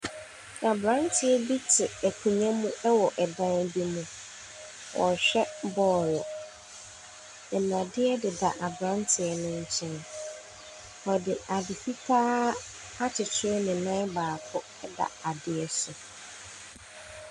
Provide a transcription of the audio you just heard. Aberanteɛ bi te akonnwa mu wɔ dan bi mu. Ɔrehwɛ bɔɔlo. Nnadeɛ deda aberanteɛ no nkyɛn. Ɔde ade fitaa akyekyere ne nan baako da adeɛ so.